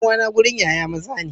Dan uwa na gurin Yaya maza ne.